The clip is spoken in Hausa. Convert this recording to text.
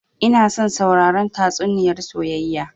Ina son sauraren tatsuniyar soyayya